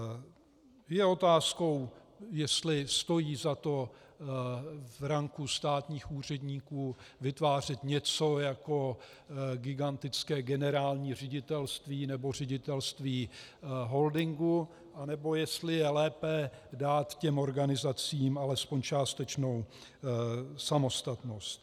Je otázkou, jestli stojí za to v ranku státních úředníků vytvářet něco jako gigantické generální ředitelství nebo ředitelství holdingu, anebo jestli je lépe dát těm organizacím alespoň částečnou samostatnost.